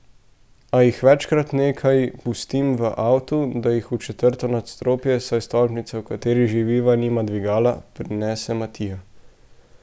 A jih večkrat nekaj pustim v avtu, da jih v četrto nadstropje, saj stolpnica, v kateri živiva, nima dvigala, prinese Matija.